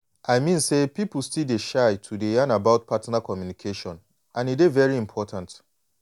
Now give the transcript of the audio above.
i mean say some people still dey shy to dey yan about partner communication and e dey very important